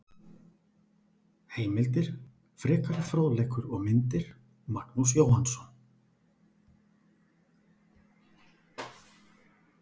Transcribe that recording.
Heimildir, frekari fróðleikur og myndir: Magnús Jóhannsson.